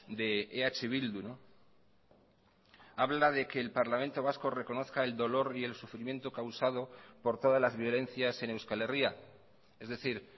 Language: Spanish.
de eh bildu habla de que el parlamento vasco reconozca el dolor y el sufrimiento causado por todas las violencias en euskal herria es decir